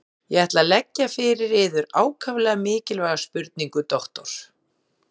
Ég ætla að leggja fyrir yður ákaflega mikilvæga spurningu, doktor.